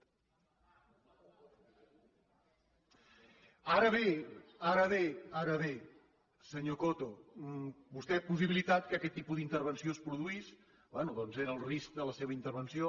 ara bé ara bé senyor coto vostè ha possibilitat que aquest tipus d’intervenció es produís bé doncs era el risc de la seva intervenció